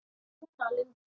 Svona var Linda.